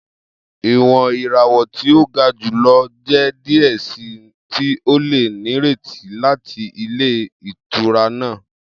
Iwọn irawọ ti o ga julọ jẹ diẹ sii ti o le nireti lati ilé ìtura naa.